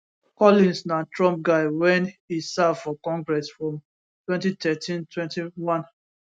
collins na trump guy wen e serve for congress from 201321